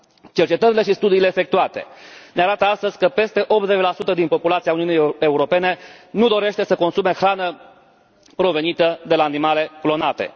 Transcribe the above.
Cercetările și studiile efectuate ne arată astăzi că peste 80 din populația Uniunii Europene nu dorește să consume hrană provenită de la animale clonate.